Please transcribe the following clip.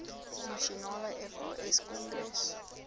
nasionale fas kongres